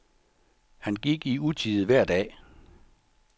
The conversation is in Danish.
Han gik i utide hver dag.